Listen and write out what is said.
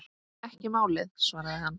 Ekki málið, svaraði hann.